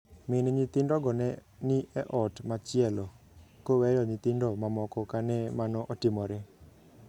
Min nyithindogo ne ni e ot machielo, koweyo nyithindo mamoko kane mano otimore.